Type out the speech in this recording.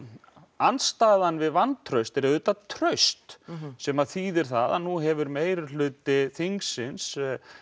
andstæðan við vantraust er traust sem þýðir það að nú hefur meirihluti þingsins